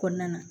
Kɔnɔna na